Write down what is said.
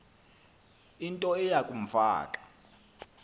into eya kumfaka